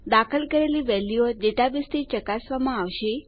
દાખલ કરેલી વેલ્યુઓ ડેટાબેઝ થી ચકાસવામાં આવશે